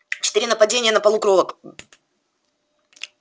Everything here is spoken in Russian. четыре нападения на полукровок